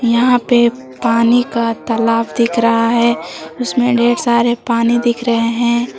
यहाँ पे पानी का तालाब दिख रहा है उसमें ढेर सारा पानी दिख रहा है।